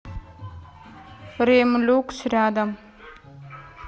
ремлюкс рядом